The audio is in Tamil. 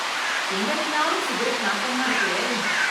எங்க நின்னாலும் சிகரெட் நாத்தமா இருக்கே...